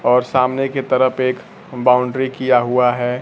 और सामने के तरफ एक बाउंड्री किया हुआ है।